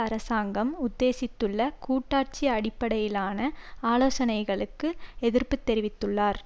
அரசாங்கம் உத்தேசித்துள்ள கூட்டாட்சி அடிப்படையிலான ஆலோசனைகளுக்கு எதிர்ப்பு தெரிவித்துள்ளார்